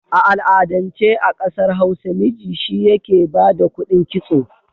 A al'adance a ƙasa Hausa miji shi yake ba da kuɗin kitso.